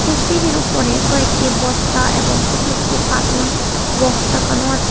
এই সিঁড়ির উপরে কয়েকটি বস্তা এবং ছোট ছোট কার্টুন বক্স রাখানো আছে।